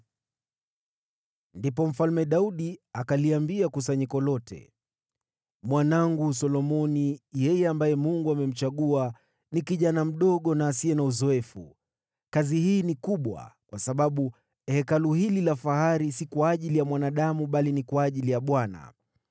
Ndipo Mfalme Daudi akaliambia kusanyiko lote: “Mwanangu Solomoni, yeye ambaye Mungu amemchagua, ni kijana mdogo na asiye na uzoefu. Kazi hii ni kubwa, kwa sababu Hekalu hili la fahari si kwa ajili ya mwanadamu bali ni kwa ajili ya Bwana .